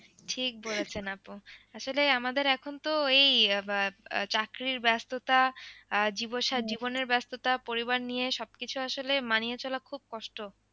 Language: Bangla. ঠিক বলেছেন আপু আসলে আমাদের এখন তো এই আহ আহ চাকরির ব্যস্ততা জীবনের ব্যস্ততা পরিবার নিয়ে সবকিছু আসলে মানিয়ে চলা খুব কষ্ট।